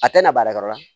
A tɛ na baarakɛyɔrɔ la